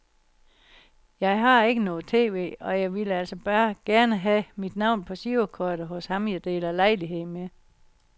Jeg har ikke noget tv, og jeg ville altså bare gerne have mit navn på girokortet hos ham jeg deler lejlighed med.